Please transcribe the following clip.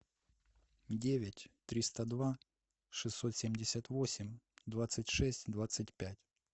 девять триста два шестьсот семьдесят восемь двадцать шесть двадцать пять